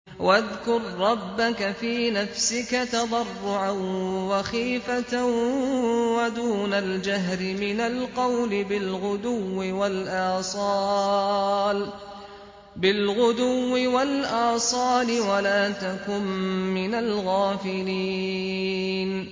وَاذْكُر رَّبَّكَ فِي نَفْسِكَ تَضَرُّعًا وَخِيفَةً وَدُونَ الْجَهْرِ مِنَ الْقَوْلِ بِالْغُدُوِّ وَالْآصَالِ وَلَا تَكُن مِّنَ الْغَافِلِينَ